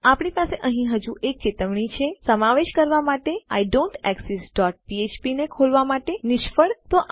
આપણી પાસે અહીં હજુ એક ચેતવણી છે સમાવેશ કરવા માટે આઇડોન્ટેક્સિસ્ટ ડોટ ફ્ફ્પ ને ખોલવા માટે નિષ્ફળ અને આ તમામ